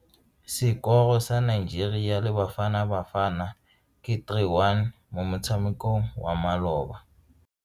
Sekoro sa Nigeria le Bafanabafana ke 3-1 mo motshamekong wa maloba.